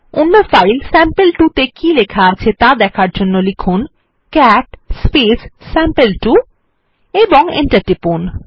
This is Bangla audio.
অন্য ফাইল স্যাম্পল2 ত়ে কী লেখা আছে ত়া দেখার জন্য লিখুন ক্যাট স্যাম্পল2 এবং এন্টার টিপুন